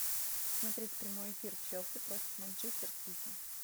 смотреть прямой эфир челси против манчестер сити